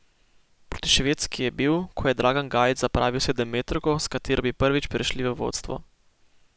Proti Švedski je bil, ko je Dragan Gajić zapravil sedemmetrovko, s katero bi prvič prešli v vodstvo.